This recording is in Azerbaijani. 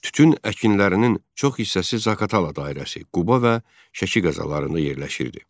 Tütün əkinlərinin çox hissəsi Zaqatala dairəsi, Quba və Şəki qəzalarına yerləşirdi.